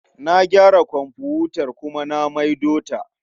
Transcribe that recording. Na gyara komfutar kuma na maido ta.